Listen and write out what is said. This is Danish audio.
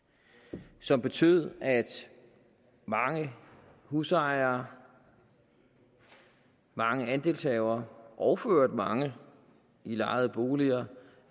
som har betydet at mange husejere mange andelshavere og for øvrigt mange i lejede boliger